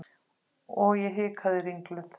Og ég hikaði ringluð.